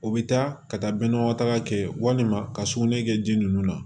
O bɛ taa ka taa bɛn nɔgɔ taga fɛ walima ka sugunɛ kɛ ji ninnu na